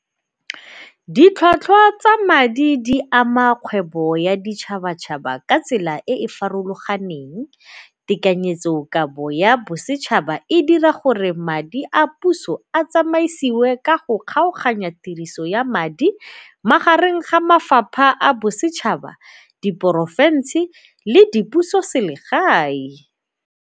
Ditlhwatlhwa tsa madi di ama kgwebo ya ditšhabatšhaba ka tsela e e farologaneng. Tekanyetsokabo ya bosetšhaba e dira gore madi a puso a tsamaisiwe ka go kgaoganya tiriso ya madi magareng ga mafapha a bosetšhaba, di porofensi le dipusoselegae.